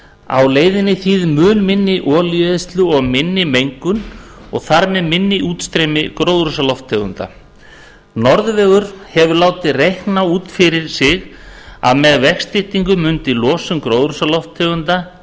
á leiðinni þýðir mun minni olíueyðslu og minni mengun og þar með minna útstreymi gróðurhúsalofttegunda norðurvegur hefur látið reikna út fyrir sig að með vegstyttingu mundi losun gróðurhúsalofttegunda